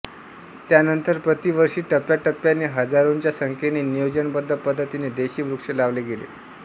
त्यानंतर प्रतिवर्षी टप्प्याटप्प्याने हजारोंच्या संख्येने नियोजनबद्ध पद्धतीने देशी वृक्ष लावले गेले